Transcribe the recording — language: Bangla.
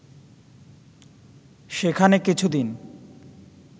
সেখানে কিছুদিন